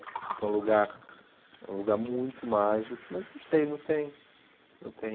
Foi um lugar é um lugar muito mágico, mas não sei, não tem não tem.